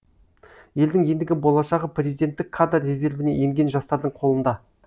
елдің ендігі болашағы президенттік кадр резервіне енген жастардың қолында